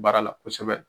Baara la kosɛbɛ